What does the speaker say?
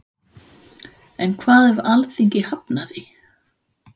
En hvað ef Alþingi hafnar því?